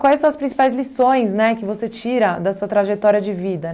Quais são as principais lições, né, que você tira da sua trajetória de vida?